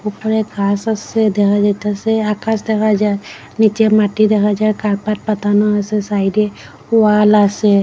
উপরে ঘাস আসে দেখা যাইতাসে আকাশ দেখা যায় নীচে মাটি দেখা যায় কার্পেট পাতানো আসে সাইডে ওয়াল আসে।